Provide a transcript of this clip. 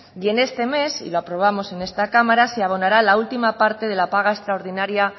y en este mes y lo aprobamos en esta cámara se abonará la última parte de la paga extraordinaria